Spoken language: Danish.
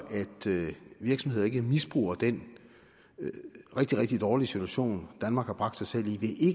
virksomheder ikke misbruger den rigtig rigtig dårlige situation danmark har bragt sig selv i